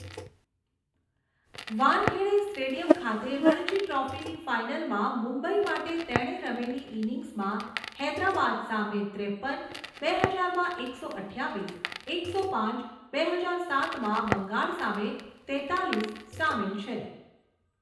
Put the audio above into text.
Wankhede stadium ખાતે રણજી ટ્રોફીની ફાઇનલમાં મુંબઈ માટે તેણે રમેલી ઇનિંગ્સમાં હૈદરાબાદ સામે ત્રેપન, બે હજારમાં એકસો અઠ્ઠાવીસ, એકસો પાંચ, બે હજાર સાતમાં બંગાળ સામે તેત્તાળીસ સામેલ છે.